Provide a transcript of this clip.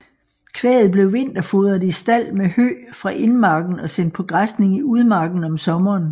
Kvæget blev vinterfodret i stald med hø fra indmarken og sendt på græsning i udmarken om sommeren